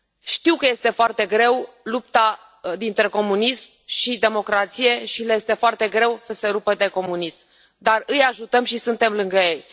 Știu că este foarte greu, lupta dintre comunism și democrație, și le este foarte greu să se rupă de comunism, dar îi ajutăm și suntem lângă ei.